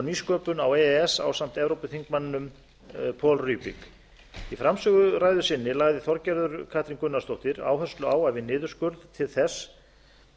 nýsköpun á e e s ásamt evrópuþingmanninum paul rübig í framsöguræðu sinni lagði þorgerður katrín gunnarsdóttir áherslu á að við niðurskurð til þess